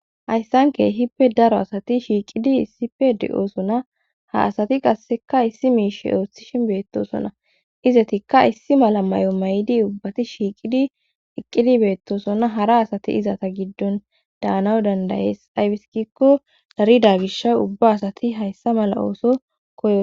Hayssanke hippe daro asati shiiqidi issipe de'osona ha asati qasseka issi miishe ooththishin beettosonna izetikka issi mala may'o may'di ubbati shiiqidi iqqidi beettosona hara asati izata giddon daanaw dandayees aybiskikko darida gish ubba asati hayssa mala ooso koys.